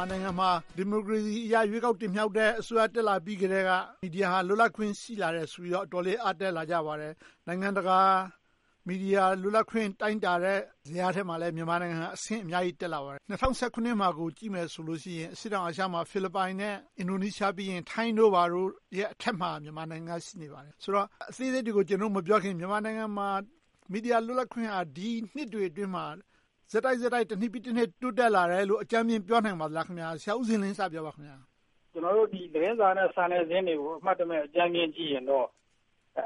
ာနိုင်ငံမှာ ဒီမိုကရေစီအရ ရွေးကောက်တင်မြှောက်တဲ့ အစိုးရ တက်လာပြီးကတည်းက မီဒီယာဟာ လွတ်လပ်ခွင့် ရှိလာတယ်ဆိုပြီးတော့ အတော်လေး အားတတ်လာကြပါတယ်။ နိုင်ငံတကာ မီဒီယာ လွတ်လပ်ခွင့် တိုင်းတာတဲ့ဇယားထဲမှာလည်း မြန်မာနိုင်ငံ အဆင့်အများကြီး တက်လာပါတယ်။ ၂၀၁၇ မှာ ကြည့်မယ်ဆိုရင် အရှေ့တောင်အာရှမှာ ဖိလစ်ပိုင်နဲ့ အင်ဒိုနီးရှားပြီးရင် ထိုင်းတို့အထက်မှာ မြန်မာနိုင်ငံက ရှိနေပါတယ်။ ဆိုတော့ အသေးစိတ်တွေကို မပြောခင် မြန်မာနိုင်ငံမှာ မီဒီယာလွတ်လပ်ခွင့်က ဒီနှစ်တွေအတွင်းမှာ ဆက်တိုက်ဆက်တိုက် တနှစ်ပြီးတနှစ် တိုးတက်လာတယ်လို့ အကြမ်းမျဉ်း ပြောနိုင်ပါသလား။ ကျနော်တို့ သတင်းစာနဲ့ စာနယ်ဇင်းတွေကို အမှတ်တမဲ့ကြည့်လိုက်ရင်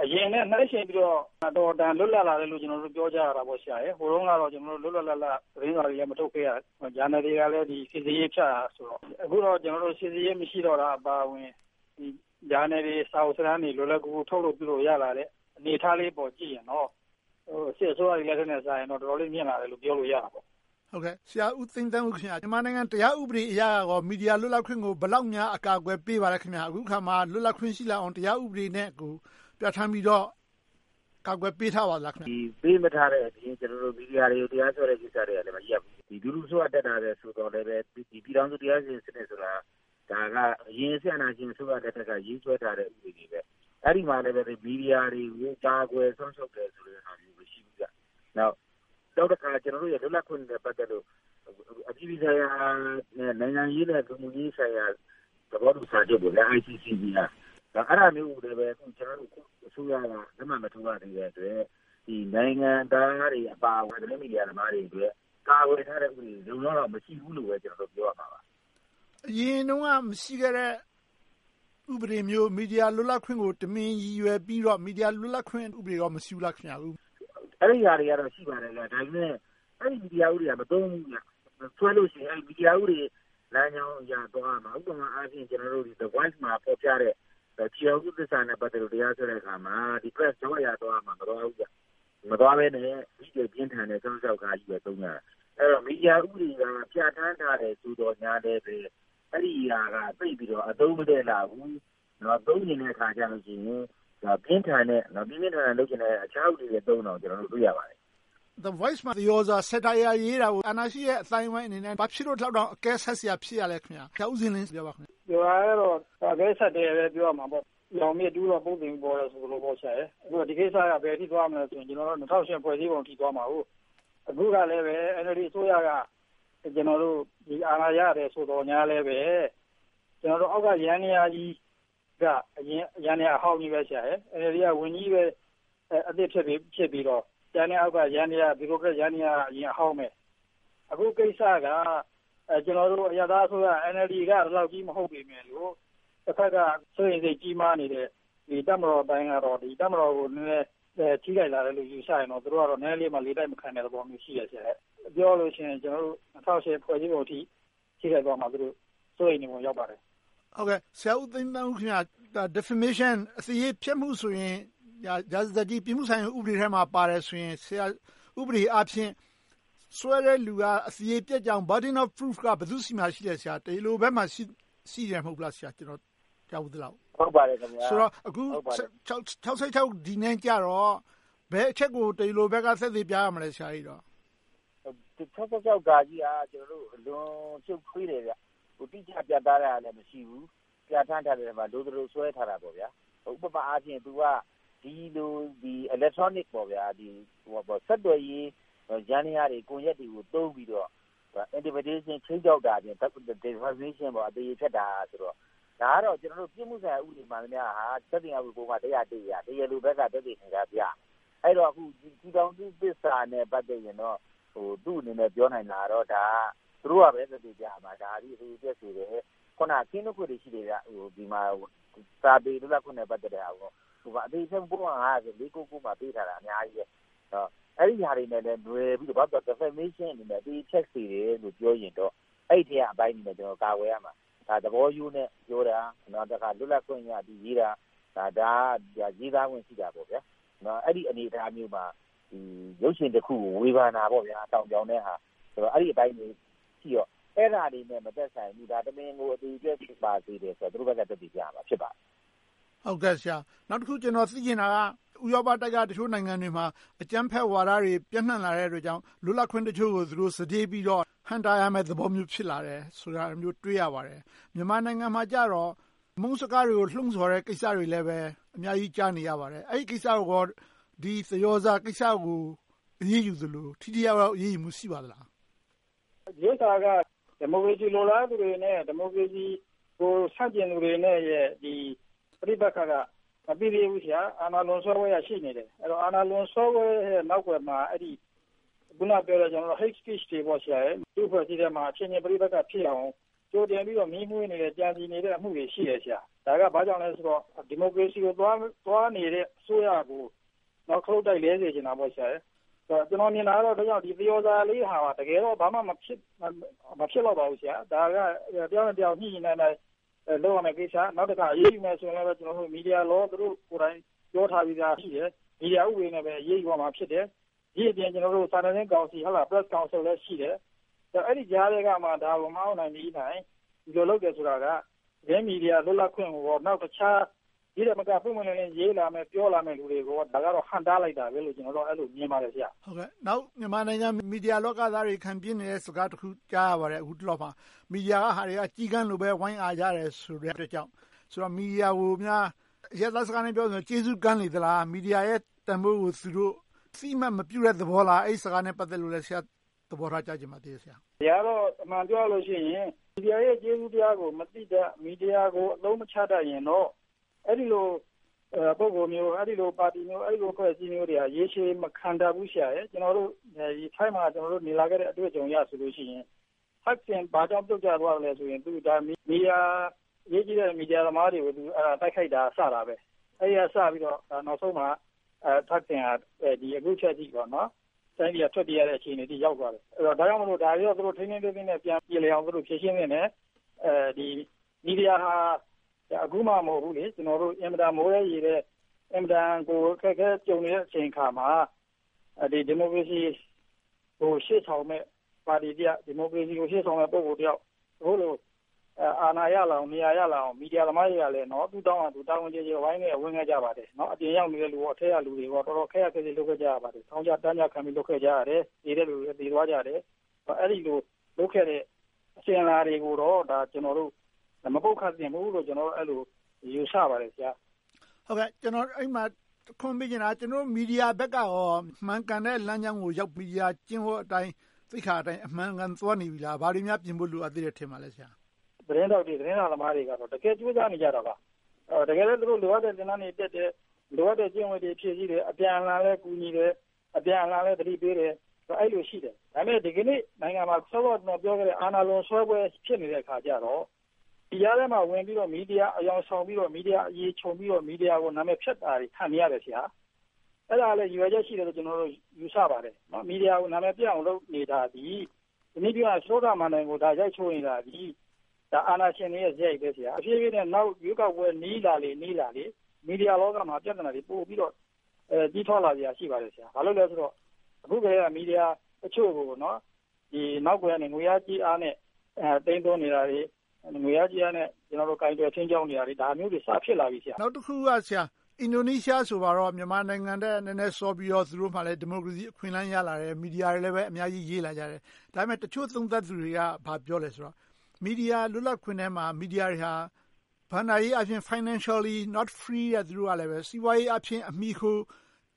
အရင်နဲ့နှိုင်းယှဉ်ပြီးတော့ အတော်အတန် လွတ်လပ်လာတယ်လို့ ပြောကြရတာပေါ့။ ဟိုတုန်းကတော့ လွတ်လွတ်လပ်လပ် သတင်းစာတွေလည်း မထုတ်ခဲ့ရ၊ ဂျာနယ်တွေကလည်း စစ်ဆေးရေးချ။ အခုတော့ စီစစ်ရေး မရှိတော့တာအပါအဝင် ဂျာနယ်တွေ၊ စာအုပ်စာတမ်းတွေ လွတ်လွတ်လပ်လပ်၊ လွယ်လွယ်ကူကူ ထုတ်လို့ရလာတဲ့ အနေအထားလေးပေါ်ကြည့်ရင်တော့ စစ်အစိုးရလက်ထက်နဲ့စာရင် တော်တော်လေး မြှင့်လာတယ်လို့ ပြောလို့ရပါတယ်။ ဆရာဦးသိန်းသန်းဦး.. မြန်မာနိုင်ငံ တရားဥပဒေအရ မီဒီယာလွတ်လပ်ခွင့်ကို ဘယ်လောက်များ အကာအကွယ် ပေးပါလဲ။ အခုအခါမှာ လွတ်လပ်ခွင့်ရှိလာအောင် တရားဥပဒေနဲ့ ပြဌာန်းပြီးတော့ ကာကွယ်ပေးထားပါလား။ ပေးမထားတဲ့အပြင် မီဒီယာတွေကို တရားစွဲထားတာတွေ မရပ်ဘူး။ လူထုအစိုးရ တက်လာတယ်ဆိုပေမယ့်လဲ ပြည်ထောင်စုတရားစီရင်ရေးစနစ်ဆိုတာ အရင်စစ်အာဏာအစိုးရလက်ထက်က ရေးဆွဲထားတဲ့ ဥပဒေတရပ် - အဲဒီမှာလဲ မီဒီယာတွေကို ကာကွယ်စောင့်ရှောက်ထားတာ မရှိဘူး။ နောက်တခါ ကျနော်တို့ရဲ့ လွတ်လပ်ခွင့်တွေနဲ့ ပတ်သက်လို့ အပြည်ပြည်ဆိုင်ရာ၊ နိုင်ငံရေးနဲ့ လူမှုရေးဆိုင်ရာ သဘောတူစာချုပ် - အဲဒါမျိုးကိုလဲ ကျနော်တို့ အစိုးရက လက်မှတ်မထိုးရသေးတဲ့အတွက် နိုင်ငံသားတွေ အပါအဝင်၊ သတင်းမီဒီယာသမားတွေရဲ့ ကာကွယ်ထားတဲ့ဥပဒေ လုံလုံလောက်လောက် မရှိဘူးလို့ ပြောရမှာပါ။ အရင်တုန်းက မရှိခဲ့တဲ့ ဥပဒေမျိုး၊ မီဒီယာလွတ်လပ်ခွင့်ကို တမင်ရည်ရွယ်ပြီးတော့ မီဒီယာလွတ်လပ်ခွင့် ဥပဒေ မရှိဘူးလား။ အဲဒါတွေကတော့ ရှိပါတယ်။ ဒါပေမဲ့ အဲဒီဥပဒေက မသုံးဘူး။ ဆွဲလို့ရှိရင် တရားဥပဒေလမ်းကြောင်းအရ သွားရမှာ။ ဥပမာအားဖြင့် The Voice မှာ ဖော်ပြတဲ့ ကျည်းထောင်စုသစ္စာနဲ့ ပတ်သက်လို့ တရားစွဲတဲ့အခါမှာ ဒီ Press Law နဲ့ သွားရမှာကို မသွားဘဲနဲ့ ဒီထက်ပြင်းထန်တဲ့ ၆၆ နဲ့ သုံးကြတယ်။ အဲဒီတော့ မီဒီယာဥပဒေက ပြဌာန်းထားတယ် ဆိုသော်ငြားလဲ အဲဒီဥပဒေကို သိပ်ပြီးတော့ အသုံးမတည့်လှဘူး။ သုံးချင်တဲ့အခါကြရင် ပြင်းပြင်းထန်ထန် လုပ်ချင်တဲ့ တခြားဥပဒေနဲ့ သုံးတာကို တွေ့ရပါတယ်။ The Voice မှာ သရော်စာ Satire ရေးတာကို အာဏာရှိတဲ့ အသိုင်းအဝိုင်းအနေနဲ့ ဘာဖြစ်လို့ ဒီလောက်တောင် အကဲဆတ်စရာ ဖြစ်ရလဲ။ အကဲဆတ်တယ်လို့ပဲ ပြောရမှာပေါ့။ ညောင်မြစ်တူးတော့ ပုတ်သင်ပေါ်တယ် ဆိုသလို ဒီကိစ္စနဲ့ ဘယ်အထိ သွားမလဲဆိုရင် ၂၀၀၈ ဖွဲ့စည်းပုံအထိ သွားမှာ။ အခုကလဲ NLD အစိုးရက အာဏာရတယ် ဆိုသော်ငြားလဲ အောက်ကယန္တရားကြီးက အရင်ယန္တရားဟောင်းကြီး။ NLD က ဝန်ကြီးပဲ အသစ်ဖြစ်ပြီးတော့ ကျန်တဲ့အောက်က ယန္တရားက ဗျူရိုကရက်ယန္တရားက အဟောင်းဖြစ်နေတုန်းပဲ။ အခုကိစ္စက ကျနော်တို့ အရပ်သားအစိုးရ NLD က ဒီလောက်ကြီး မဟုတ်ပေမယ့် တဘက်က စိုးရိမ်စိတ် ကြီးမားနေတဲ့ တပ်မတော်ပိုင်းကတော့ တပ်မတော်ကို ထိခိုက်လာတယ်လို့ ယူဆရင်တော့ သူတို့ကတော့ နည်းနည်းလေးမှ လေတိုက်မခံနိုင်တဲ့သဘော ရှိတယ်။ ပြောရလို့ရှိရင် ၂၀၀၈ ဖွဲ့စည်းပုံအထိ ထိခိုက်သွားမှာစိုးလို့ စိုးရိမ်နေပုံရောက်ပါတယ်။ ဆရာဦးသိန်းသန်းဦး ခင်များ Deprivation Defination အသေရေဖျက်မှုဆိုရင် ရာဇသတ်ကြီး ပြစ်မှုဆိုင်ရာမှာ ပါတယ်ဆိုရင် ဥပဒေအားဖြင့် ဆွဲတဲ့လူက အသေရေပျက်ကြောင်း Burden of Proof က ဘယ်သူဆီမှာရှိလဲ။ တရားလိုဘက်မှာ ရှိတယ်မဟုတ်ဘူးလား။ ကျနော် ကြားဖူးသလောက်။ ဆိုတော့ အခု ၆၆ နဲ့ကြတော့ ဘယ်အချက်ကို တရားလိုဘက်က သက်သေပြရမလဲ။ ၆၆ က အလွန်ရှုပ်ထွေးတယ်။ တိကျပြတ်သားတာလဲ မရှိဘူး။ ပြဌာန်းထားတဲ့အထဲမှာ လိုသလိုဆွဲထားတာ။ ဥပမာ ဒီလို Electronic ဆက်သွယ်ရေး ယန္တရား၊ ကွန်ရက်တွေကို သုံးပြီးတော့ Intimidation ခြိမ်းခြောက်တာတွေ၊ Deprivation အသရေဖျက်တာတွေ - ဒါကတော့ ပြစ်မှုဆိုင်ရာ ဥပဒေမှန်သမျှဟာ သက်သေခံမှု ပုဒ်မ အရ တရားလိုဘက်က သက်သေအထောက်အထား ပြရမယ်။ အဲဒီတော့ ကျည်းထောင်စုသစ္စာနဲ့ ပတ်သက်ရင်တော့ သူ့အနေနဲ့ ပြောနိုင်တာကတော့ ဒါကတော့ သူတို့ကပဲ သက်သေပြရမှာ။ ဒါသည် ဒီအချက်ဆိုတယ်။ အခုန ကင်းလွှတ်ခွင့်တွေ ဒီမှာ စာပေလွတ်လပ်ခွင့်ကို သူတို့က အသေရေဖျက်မှု ပုဒ်မ ၅၀၀ - ၄၉၉ မှာ ရေးထားတာ အများကြီးပဲ။ အဲဒီဟာတွေနဲ့ နွယ်ပြီးတော့ Defination အနေနဲ့ အသေရေဖျက်စေတယ်လို့ ပြောရင်တော့ အဲဒီအထဲက အပိုင်းတွေကို ကာကွယ်ရမှာ။ ဒါ သဘောရိုးနဲ့ပြောတာ၊ လွတ်လပ်ခွင့်အရ ရေးတာ၊ ဒါက ရေးသားခွင့်ရှိပါတယ်။ အဲဒီအနေအထားမျိုးမှာ ရုပ်ရှင်တခုကို ဝေဖန်တာ၊ လှောင်ပြောင်တဲ့ဟာ အဲဒီအပိုင်းတွေရှိတော့ အဲဒါတွေနဲ့ မသက်ဆိုင်ဘူး။ တမင်ကို အသေရေပျက်စေပါတယ်ဆိုတာကို သူတို့ဘက်က သက်သေပြရမှာ ဖြစ်ပါတယ်။ နောက်တခု ကျနော် သိချင်တာက ဥရောပတိုက်က တချို့နိုင်ငံတွေမှာ အကြမ်းဖက်ဝါဒ ပျံ့နံှ့လာတဲ့အတွက်ကြောင့် လွတ်လပ်ခွင့်တချို့ကို သူတို့ စတေးပြီးတော့ ဟန့်တားရမယ့်သဘော ဖြစ်လာတယ်ဆိုတာမျိုး တွေ့ရပါတယ်။ မြန်မာနိုင်ငံမှာကြတော့ အမုန်းစကားတွေကို လှုံဆော်နေတဲ့ ကိစ္စတွေလည်း အများကြီး ကြားနေရပါတယ်။ အဲဒီကိစ္စ ဒီသရော်စာကိစ္စကို အရေးယူသလို၊ ထိထိရောက်ရောက် အရေးယူမှု ရှိပါသလား။ ဒီဥစ္စာက ဒီမိုကရေစီ လိုလားသူတွေနဲ့ ဒီမိုကရေစီကို ဆန့်ကျင်သူတွေနဲ့ ပဋိပက္ခက မပြီးသေးဘူး။ အာဏာလွန်ဆွဲထားတာ ရှိနေတယ်။ အဲဒီ အာဏာလွန်ဆွဲပွဲရဲ့ နောက်ကွယ်မှာ အခုနပြောတဲ့ Hate Speech တွေ ရှိပါတယ်။ လူ့အဖွဲ့အစည်းထဲမှာ ပဋိပက္ခဖြစ်အောင် ကြိုတင်ပြီးတော့ မီးမွှေးနေတဲ့၊ ကြံစည်းနေတဲ့ အမှုတွေ ရှိတယ်။ ဒါက ဘာကြောင့်လဲဆိုတော့ ဒီမိုကရေစီကို သွားနေတဲ့အစိုးရကို ခလုတ်တိုက် လဲစေချင်တယ်။ ကျနော် မြင်တာကတော့ ဒီသရော်စာလေးဟာ တကယ်တော့ ဘာမှမဖြစ်လောက်ပါဘူး။ ဒါက တယောက်နဲ့တယောက် ညှိညှိနှိုင်းနှိုင်း လုပ်ရမယ့်ကိစ္စ။ နောက်တခါ အရေးယူမယ်ဆိုရင်လဲ မီဒီယာဥပဒေ သူတို့ပြောထားတဲ့အတိုင်း ရှိတယ်။ မီဒီယာဥပဒေနဲ့ပဲ အရေးယူရမှာ ဖြစ်တယ်။ ဒီအပြင် စာနယ်ဇင်းကောင်စီ Press Council လည်း ရှိတယ်။ အဲဒီကြားထဲကမှ ဒါကို မအောင့်နိုင်သည်တိုင် မီဒီယာ လုပ်တယ်ဆိုတာက သတင်းမီဒီယာ လွတ်လပ်ခွင့်၊ နောက်တခြား ဒီထက်မက ပွင့်ပွင့်လင်းလင်း ရေးလာမယ့်၊ ပြောလာမယ့် လူတွေကို Block ဟန့်တားလိုက်တာပဲလို့ အဲဒီလိုပဲ မြင်ပါတယ်။ နောက်မြန်မာနိုင်ငံ မီဒီယာလောကသားတွေ ခံပြင်းနေတဲ့ စကားတခု ကြားနေရပါတယ်။ အခုတလောမှာ မီဒီယာက လူတွေက ကျီးကန်းလို ဝိုင်းအာကြတယ်ဆိုတဲ့အတွက်ကြောင့် မီဒီယာ ကို အရပ်သားစကားနဲ့ ပြောရရင် ကျေးဇူးကန်းလေသလား။ မီဒီယာရဲ့ တန်းဖိုးကို သူတို့ အသိအမှတ် မပြုတဲ့သဘောလား ။ အဲဒီစကားနဲ့ ပတ်သက်လို့ ဆရာ့အမြင်၊ သဘောထားကို ကြားချင်ပါတယ်။ ဒီဟာတော့ အမှန်ပြောရလို့ရှိရင် မီဒီယာရဲ့ ကျေးဇူးတရားကို မသိတတ်၊ မီဒီယာကို အသုံးမချတတ်ရင်တော့ အဲဒီလို ပုဂ္ဂိုလ်မျိုး၊ အဲဒီလို ပါတီမျိုး၊ အဲဒီလို အဖွဲ့အစည်းမျိုးတွေက ရေရှည်မခံတတ်ဘူး။ ကျနော်တို့ ထိုင်းမှာနေလာခဲ့တဲ့ အတွေ့အကြုံအရဆိုရင် Thaksin ဘာကြောင့် ပြုတ်ကျသွားသလဲဆိုရင် အရေးကြီးတဲ့ မီဒီယာသမားတွေကို တိုက်ခိုက်တာက စတာပဲ။ အဲဒီက စပြီးတော့ နောက်ဆုံးမှာ Thaksin ဟာ အခုအချိန်အထိ တိုင်းပြည်က ထွက်ပြေးရတဲ့ အခြေအနေထိ ရောက်သွားတယ်။ ဒါကြောင့်မို့ သူတို့ ထိန်းထိန်းသိမ်းသိမ်းနဲ့ ပြန်ပြေလည်အောင် ဖြေရှင်းသင့်တယ်။ မီဒီယာဟာ အခုမှ မဟုတ်ဘူး။ အင်မတန် မိုးထဲရေထဲ၊ အင်မတန်ကို အခက်အခဲကြုံနေရတဲ့ အချိန်အခါမှာ ဒီမိုကရေစီကို ရှေ့ဆောင်မယ့် ပါတီတရပ်၊ ဒီမိုကရေစီကို ရှေ့ဆောင်မယ့် ပုဂ္ဂိုလ်တယောက် အခုလို အာဏာရလာအောင်၊ နေရာရလာအောင် မီဒီယာသမားတွေကလည်း သူ့ထောင့်ကနေ တာဝန်ကျေကျေ ဝိုင်းခဲ့ဝန်းခဲ့ပါတယ်။ အပြင်ရောက်နေတဲ့လူကော၊ အထဲရောက်နေတဲ့လူကော တော်တော်ခက်ရာခက်ဆစ် လုပ်ခဲ့ကြရပါတယ်။ ထောင်ကျတန်းကျ လုပ်ခဲ့ကြရတယ်။ သေတဲ့သူတွေ သေသွားကြတယ်။ အဲဒီလို လုပ်ခဲ့တဲ့ အစဉ်အလာတွေကိုတော့ ကျနော်တို့ မပုတ်ခတ်သင့်ဘူးလို့ ကျနော်တို့ အဲဒီလို ယူဆပါတယ်။ ကျနော် အဲဒီမှာ တခွန်းမေးချင်တာက မီဒီယာဘက်ကရော မှန်ကန်တဲ့ လမ်းကြောင်းကိုရောက်ပြီး၊ မီဒီယာ ကျင့်ဝတ်အတိုင်း၊ သိက္ခာအတိုင်း အမှန်အကန် သွားနေပြီလား။ ဘာတွေများ ပြင်ဖို့ လိုအပ်သေးတယ် ထင်ပါလဲ။ သတင်းထောက်တွေ၊ သတင်းစာသမားတွေကတော့ တကယ်ကြိုးစားနေကြတာပါ။ တကယ်ပဲ သူတို့ လိုအပ်တဲ့ သင်တန်းတွေတက်တယ်။ လိုအပ်တဲ့ ကျင့်ဝတ်တွေ ဖြည့်ဆည်းတယ်။ အပြန်အလှန်လည်း ကူညီတယ်။ အပြန်အလှန်လည်း သတိပေးတယ်။ အဲဒီလို ရှိတယ်။ ဒါပေမဲ့ ဒီကနေ့ နိုင်ငံမှာ စောစောက ကျနော်ပြောခဲ့တဲ့ အာဏာလွန်ဆွဲပွဲ ဖြစ်နေတဲ့အခါကြတော့ ဒီကြားထဲမှာ ဝင်ပြီးတော့ မီဒီယာအယောင်ဆောင်ပြီးတော့ မီဒီယာအရေခြုံပြီးတော့ မီဒီယာကို နာမည်ဖျက်တာတွေ ခံနေရတယ်။ အဲဒါလဲ ရည်ရွယ်ချက်ရှိတယ်လို့ ကျနော်ကတော့ ယူဆပါတယ်။ မီဒီယာကို နာမည်ပျက်အောင် လုပ်နေတာသည်၊ စတုတ္ထမဏ္ဍိုင်ကို ရိုက်ချိုးနေတာသည် အာဏာရှင်တွေရဲ့ စရိုက်ပဲဖြစ်တယ်။ တဖြည်းဖြည်းနဲ့ နောက်ရွေးကောက်ပွဲ နီးလာလေ၊ နီးလာလေ မီဒီယာလောကမှာ ပြဿနာတွေ ပိုပြီးတော့ ကြီးထွားလာစရာတွေ ရှိပါတယ်။ ဘာဖြစ်လို့လဲဆိုတော့ အခုကတည်းက မီဒီယာတချို့ကို နောက်ကွယ်ကနေ ငွေအားကြေးအားနဲ့ သိမ်းသွင်းနေတာတွေ။ ငွေအားကြေးအားနဲ့ ကိုင်တွယ်ခြိမ်းခြောက်နေတာတွေ ဒါမျိုးတွေ စဖြစ်လာပြီ ဆရာ။ နောက်တခုက အင်ဒိုနီးရှားဆိုပါတော့ မြန်မာနိုင်ငံထက် နည်းနည်းစောပြီးတော့ သူတို့မှာလဲ ဒီမိုကရေစီ အခွင့်အလမ်း ရလာတယ်။ မီဒီယာတွေလည်း အများကြီး ရေးလာကြတယ်။ ဒါပေမဲ့ တချို့သုံးသပ်သူတွေက ဘာပြောလဲဆိုတော့ မီဒီယာ လွတ်လပ်ခွင့်ထဲမှာ မီဒီယာတွေဟာ ဘဏ္ဍာရေးအားဖြင့်၊ Financially not free yet စီးပွားရေးအားဖြင့် အမှီအခို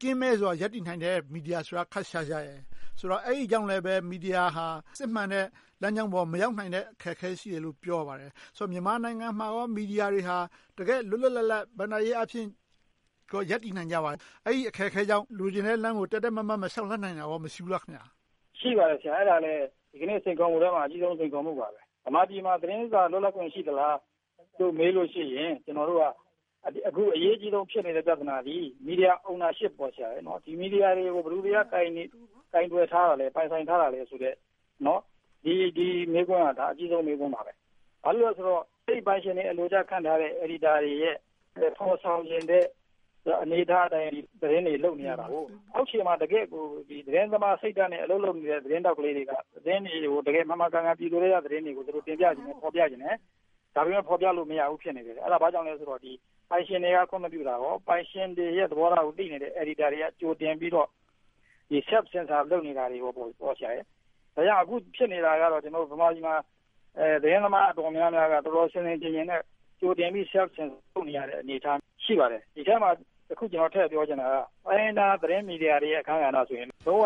ကင်းမဲ့စွာ ရပ်တည်နိုင်တဲ့ မီဒီယာဆိုတာ ခပ်ရှားရှား။ အဲဒါကြောင့်လဲ မီဒီယာဟာ စစ်မှန်တဲ့ လမ်းကြောင်းပေါ် မရောက်နိုင်တဲ့ အခက်အခဲ ရှိတယ်လို့ ပြောပါတယ်။ ဆိုတော့ မြန်မာနိုင်ငံမှာကော မီဒီယာတွေဟာ တကယ့် လွတ်လွတ်လပ်လပ် ဘဏ္ဍာရေးအားဖြင့် ရပ်တည်နိုင်ကြပါလား။ အဲဒီအခက်အခဲကြောင့် လိုချင်တဲ့လမ်းကို တည့်တည့်မတ်မတ် မလျှောက်လှမ်းနိုင်တာကော မရှိဘူးလား။ အဲဒါလဲ ဒီနေ့ စိန်ခေါ်မှုထဲမှာ အကြီးဆုံး စိန်ခေါ်မှုပါ။ ဗမာပြည်မှာ သတင်းစာ လွတ်လပ်ခွင့် ရှိသလားလို့ မေးလို့ရှိရင် အခု အရေးအကြီးဖြစ်နေတဲ့ ပြဿနာသည် Media Ownership ပေါ့ - မီဒီယာတွေကို ဘယ်သူတွေက ကိုင်တွယ်ထားတာလဲ။ ပိုင်ဆိုင်ထားတာလဲဆိုတဲ့ ဒီမေးခွန်းဟာ ဒါ အကြီးဆုံး မေးခွန်းပါပဲ။ ဘာဖြစ်လို့လဲဆိုတော့ အဲဒီပိုင်ရှင်တွေရဲ့ အလိုကျ ခန့်ထားတဲ့ အယ်ဒီတာတွေရဲ့ ဖော်ဆောင်ချင်တဲ့ အနေအထားအတိုင်း သတင်းတွေ လုပ်နေရတယ်။ အောက်ခြေမှာ တကယ့်ကို သတင်းသမား စိတ်ဓါတ်နဲ့ အလုပ်လုပ်နေတဲ့ သတင်းထောက်လေးတွေ သတင်းတွေကို တကယ်မှန်မှန်ကန်ကန် ပြည်သူထဲက သတင်းတွေကို တင်ပြချင်တယ်။ ဖော်ပြချင်တယ်။ ဒါပေမဲ့ ဖော်ပြလို့ မရဘူး ဖြစ်နေတယ်။ အဲဒါ ဘာကြောင့်လဲဆိုတော့ ပိုင်ရှင်တွေက ခွင့်မပြုတာ။ ပိုင်ရှင်တွေရဲ့ သဘောထားကို သိနေတဲ့ အယ်ဒီတာတွေက ကြိုတင်ပြီးတော့ Self-censor လုပ်နေတာ။ ဒါကြောင့် အခုဖြစ်နေတာက ဗမာပြည်မှာ သတင်းသမား အတော်များများက တော်တော်ဆင်ဆင်ခြင်ခြင် နဲ့ ကြိုတင်ပြီး Self-censor သဘော ရှိပါတယ်။ ဒီအထဲမှာ တခု ကျနော် ထည့်ပြောချင်တာက တိုင်းရင်းသားသတင်းမီဒီယာတွေရဲ့ အခန်းကဏ္ဍဆိုရင် လုံးဝပ